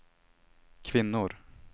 kvinnor